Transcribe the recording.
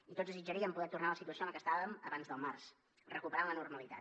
i tots desitjaríem poder tornar a la situació en la que estàvem abans del març recuperar la normalitat